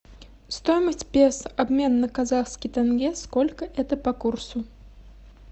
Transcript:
стоимость песо обмен на казахский тенге сколько это по курсу